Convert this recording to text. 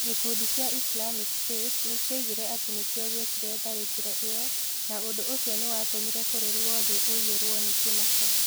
Gĩkundi kĩa Islamic State nĩ kĩoigire atĩ nĩ kĩo gĩekire tharĩkĩro ĩyo, na ũndũ ũcio nĩ watũmire bũrũri wothe ũiyũrũo nĩ kĩmako.